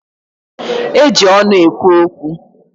Eji ọnụ ekwu okwu.